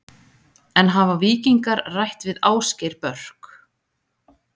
En hafa Víkingar rætt við Ásgeir Börk?